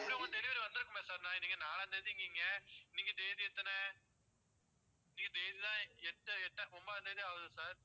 எப்படியும் உங்க delivery வந்திருக்குமே sir இன்னைக்கு நாலாந்தேதிங்கீங்க இன்னைக்கு தேதி எத்தனை? இன்னைக்கு தேதிதான் எட்டு எட்டு ஒன்பதாம் தேதி ஆகுது sir